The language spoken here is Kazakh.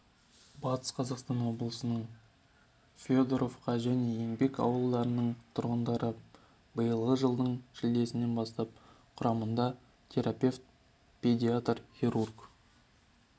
батыс қазақстан облысының федоровка және еңбек ауылдарының тұрғындарын биылғы жылдың шілдесінен бастап құрамында терапевт педиатр хирург